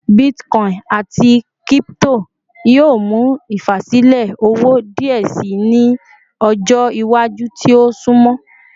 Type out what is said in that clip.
Bitcoin ati crypto yoo mu ifasilẹ owo diẹ sii ni ọjọ iwaju ti o sunmọ